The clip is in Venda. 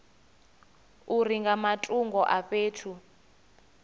uri nga matungo a fhethu